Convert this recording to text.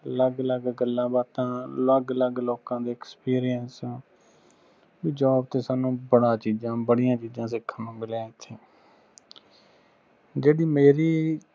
ਅਲੱਗ ਅਲੱਗ ਗੱਲਾਂ ਬਾਤਾਂ ਅਲੱਗ ਅਲੱਗ ਲੋਂਕਾਂ ਦੇ experience ਜਾ ਕੋਈ ਸਾਨੂੰ ਬੜਾ ਚੀਜ਼ਾਂ ਬੜੀਆਂ ਚੀਜਾਂ ਦੇਖਣ ਨੂੰ ਮਿਲੀਆਂ ਐਥੇ ਜੇੜੀ ਮੇਰੀ